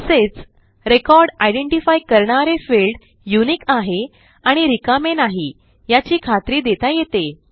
तसेच record identify करणारे field unique आहे आणि रिकामे नाही याची खात्री देता येते